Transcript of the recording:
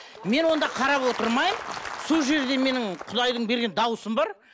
мен онда қарап отырмаймын сол жерде менің құдайдың берген дауысым бар